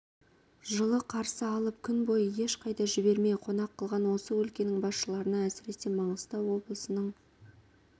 жылы қарсы алып күн бойы ешқайда жібермей қонақ қылған осы өлкенің басшыларына әсіресе маңғыстау облысының